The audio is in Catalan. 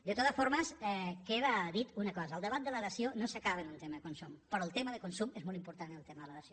de totes formes queda dita una cosa el debat de la dació no s’acaba en un tema de consum però el tema de consum és molt important en el tema de la dació